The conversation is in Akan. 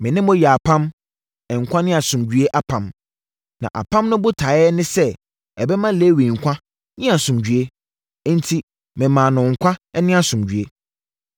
Me ne no yɛɛ apam, nkwa ne asomdwoeɛ apam. Na apam no botaeɛ ne sɛ ɛbɛma Lewi nkwa ne asomdwoeɛ, enti memaa no nkwa ne asomdwoeɛ.